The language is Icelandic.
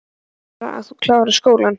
Ég vil bara að þú klárir skólann